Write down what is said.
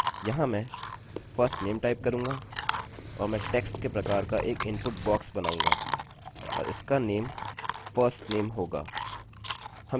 यहाँ मैं firstname type करूँगा और मैं text के प्रकार का एक इनपुट बॉक्स बनाऊँगा और इसका name firstname होगा